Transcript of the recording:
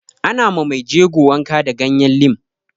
Ana ma mai jego wanka da ganyen lim